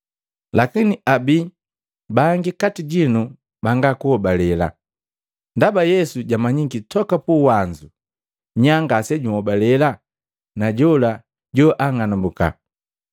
Lakini abi bangi kati jinu banga kuhobalela.” Ndaba Yesu jamanyiki toka puwanzu nya ngasejuhobale na jola joang'alumbuka.